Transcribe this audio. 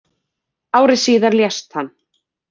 Ári síðar lést hann.